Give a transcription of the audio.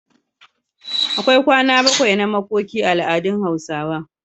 akwai kwana bakwai na makoki a al'adun hausa